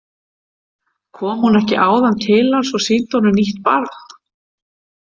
Kom hún ekki áðan til hans og sýndi honum nýtt barn?